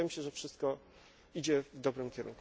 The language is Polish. Dlatego wydaje mi się, że wszystko idzie w dobrym kierunku.